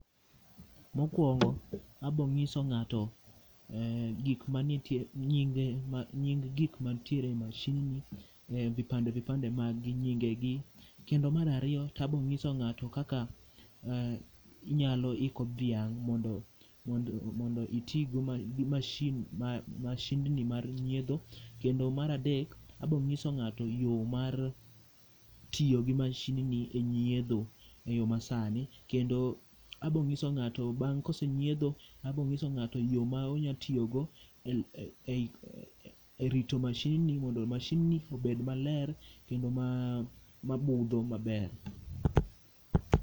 Mokuongo abo nyiso ng'ato gik manitie, nying gikma nitie e mashin ni ,vipande vipande mag gi, nyingegi kendo mar ariyo to abo nyiso ng'ato kaka inyalo iko dhiang mondo itigi mashindni mar nyiedho kendo mar adek abo nyiso ng'ato yoo mar tiyo gi mashindni e nyiedho e yoo masani ,kendo abo nyiso ng'ato bang ka osenyiedho abo nyiso ng'ato yoo ma onya tiyo go e rito mashinni mondo mashinni obed maler kendo mabudho maber